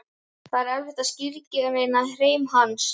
Það er erfitt að skilgreina hreim hans.